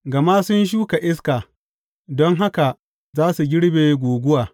Gama sun shuka iska don haka za su girbe guguwa.